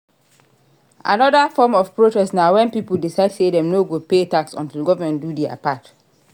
Another form of protest na when pipo decide say dem no go pay tax until government do their part